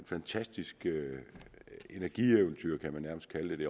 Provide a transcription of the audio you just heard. fantastisk energieventyr kan man nærmest kalde det